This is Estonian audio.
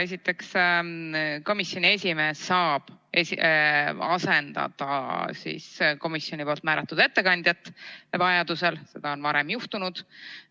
Esiteks, komisjoni esimees saab vajaduse korral asendada komisjoni määratud ettekandjat, seda on varem juhtunud.